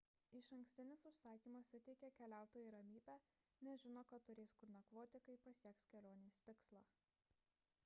išankstinis užsakymas suteikia keliautojui ramybę nes žino kad turės kur nakvoti kai pasieks kelionės tikslą